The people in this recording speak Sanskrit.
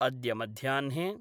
अद्य मध्याह्ने